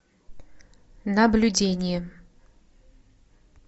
наблюдение